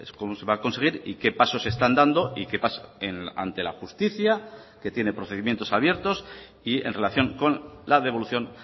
cómo se va a conseguir y qué pasos se están dando y qué pasa ante la justicia que tiene procedimientos abiertos y en relación con la devolución